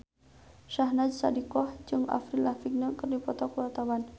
Syahnaz Sadiqah jeung Avril Lavigne keur dipoto ku wartawan